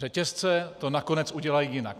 Řetězce to nakonec udělají jinak.